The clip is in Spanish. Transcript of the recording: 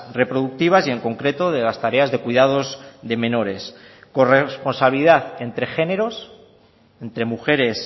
reproductivas y en concreto de las tareas de cuidados de menores corresponsabilidad entre géneros entre mujeres